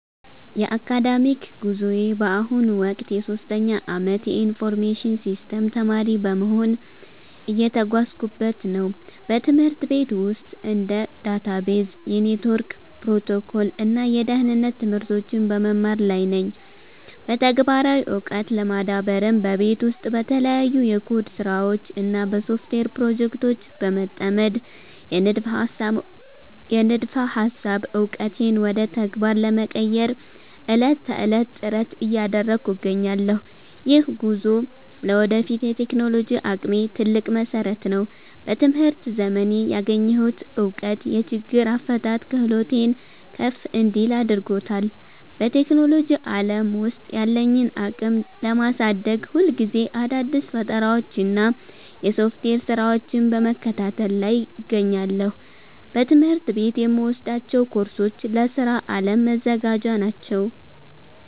የአካዳሚክ ጉዞዬ በአሁኑ ወቅት የሶስተኛ ዓመት የኢንፎርሜሽን ሲስተምስ ተማሪ በመሆን እየተጓዝኩበት ነው። በትምህርት ቤት ውስጥ እንደ ዳታቤዝ፣ የኔትወርክ ፕሮቶኮል እና የደህንነት ትምህርቶችን በመማር ላይ ነኝ። በተግባራዊ ዕውቀት ለመዳበርም በቤት ውስጥ በተለያዩ የኮድ ስራዎች እና በሶፍትዌር ፕሮጀክቶች በመጠመድ፣ የንድፈ ሃሳብ ዕውቀቴን ወደ ተግባር ለመቀየር ዕለት ተዕለት ጥረት እያደረግኩ እገኛለሁ። ይህ ጉዞ ለወደፊት የቴክኖሎጂ አቅሜ ትልቅ መሰረት ነው። በትምህርት ዘመኔ ያገኘሁት እውቀት የችግር አፈታት ክህሎቴን ከፍ እንዲል አድርጎታል። በቴክኖሎጂ ዓለም ውስጥ ያለኝን አቅም ለማሳደግ፣ ሁልጊዜ አዳዲስ ፈጠራዎችንና የሶፍትዌር ስራዎችን በመከታተል ላይ እገኛለሁ። በትምህርት ቤት የምወስዳቸው ኮርሶች ለስራ ዓለም መዘጋጃ ናቸው